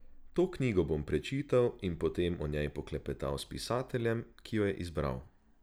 To knjigo bom prečital in potem o njej poklepetal s pisateljem, ki jo je izbral.